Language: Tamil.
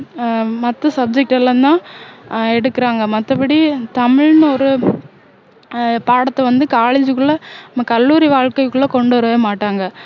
ஆஹ் மத்த subject எல்லாம் தான் ஆஹ் எடுக்குறாங்க மத்தபடி தமிழ்னு ஒரு பாடத்தை வந்து college குள்ள கல்லூரி வாழ்க்கைக்குள்ள கொண்டுவரவே மாட்டாங்க